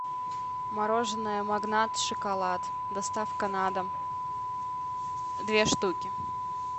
мороженое магнат шоколад доставка на дом две штуки